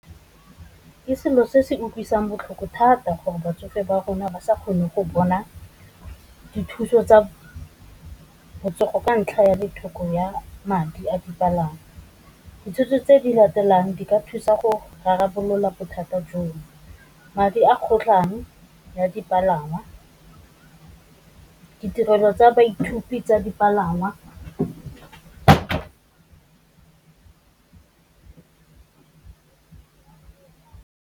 Ke selo se se utlwisang botlhoko thata gore batsofe ba rona ba sa kgone go bona dithuso tsa botsogo, ka ntlha ya tlhoko ya madi a dipalangwa, dithuso tse di latelang di ka thusa go rarabolola bothata jono, madi a kgotlhang ya dipalangw, a ditirelo tsa baithuti tsa dipalangwa.